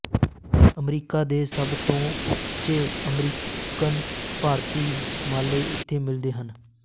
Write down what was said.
America ਦੇ ਸਭ ਤੋਂ ਉੱਚੇ ਅਮਰੀਕਨ ਭਾਰਤੀ ਮਾਲੇ ਇੱਥੇ ਮਿਲਦੇ ਹਨ